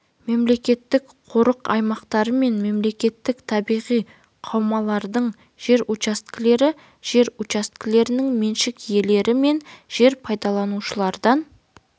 мемлекеттік қорық аймақтары мен мемлекеттік табиғи қаумалдардың жер учаскелері жер учаскелерінің меншік иелері мен жер пайдаланушылардан